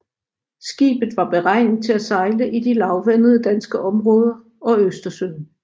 Skibet var beregnet til at sejle i de lavvandede danske områder og Østersøen